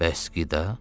Bəs qida?